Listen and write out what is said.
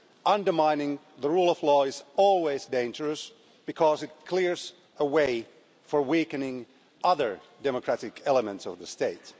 Undermining the rule of law is always dangerous because it clears a way for weakening other democratic elements of the state.